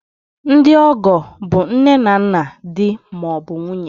Ndị ọgọ bụ nne na nna di ma ọ bụ nwunye